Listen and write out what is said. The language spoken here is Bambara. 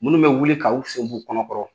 Munnu bɛ wuli k' u sen b'u kɔnɔkɔrɔ